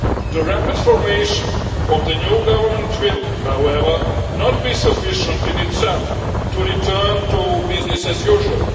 The rapid formation of the new government will, however, not to be sufficient in itself to return to business as usual.